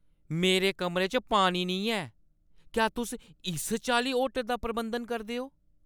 मेरे कमरे च पानी नेईं ऐ! क्या तुस इस चाल्ली होटल दा प्रबंधन करदे ओ?